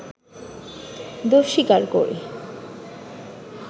দোষ স্বীকার করে